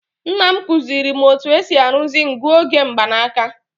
Nna m kụziiri m otú e si arụzi nguoge mgbanaka.